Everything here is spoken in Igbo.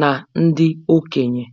na ndị okenye